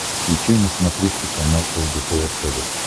включай на смотрешке канал лдпр тв